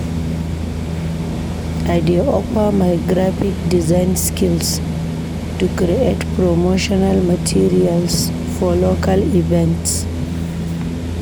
I dey offer my graphic design skills to create promotional materials for local events.